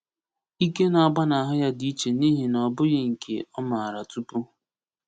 Ike na-agba n’ahụ ya dị iche n’ihi na ọ bụghị nke ọ maara tupu.